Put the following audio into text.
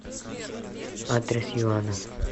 адрес юана